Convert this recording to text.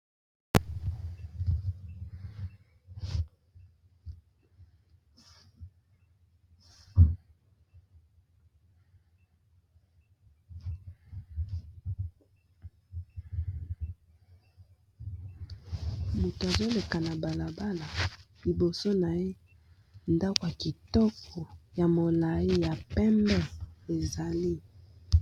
Mutu azoleka na balabala, liboso na ye ndako ya kitoko ya molai ya pembe ezali.